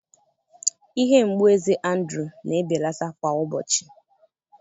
Ihe mgbu eze Andrụ̀ na-ebelata kwa ụbọchị